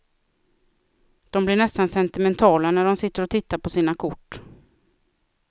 De blir nästan sentimentala när de sitter och tittar på sina kort.